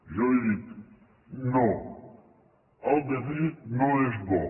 jo li dic no el dèficit no és bo